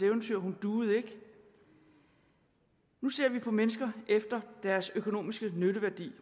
eventyr hun duede ikke nu ser vi på mennesker efter deres økonomiske nytteværdi